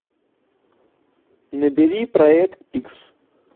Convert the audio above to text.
набери проект икс